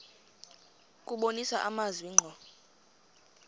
kubonisa amazwi ngqo